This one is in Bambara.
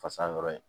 Fasa dɔrɔn ye